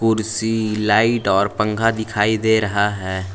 कुर्सी लाइट और पंखा दिखाई दे रहा है।